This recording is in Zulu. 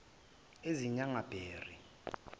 ezinyangabheri